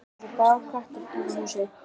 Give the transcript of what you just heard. Hann er eins og grár köttur í kringum húsið.